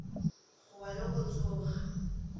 go wa le go tsoga